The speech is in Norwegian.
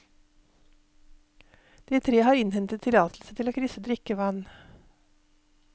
De tre har innhentet tillatelse til å krysse drikkevann.